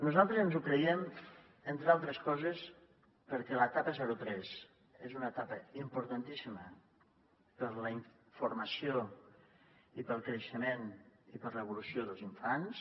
nosaltres ens ho creiem entre altres coses perquè l’etapa zero tres és una etapa importantíssima per a la formació per al creixement i per a l’evolució dels infants